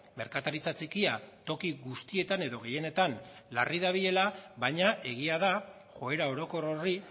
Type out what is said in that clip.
merkataritza txikia toki guztietan edo gehienetan larri dabilela baina egia da joera orokor horri